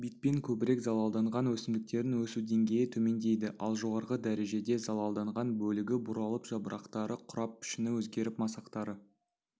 битпен көбірек залалданған өсімдіктердің өсу деңгейі төмендейді ал жоғарғы дәрежеде залалданған бөлігі бұралып жапырақтары қурап пішіні өзгеріп масақтары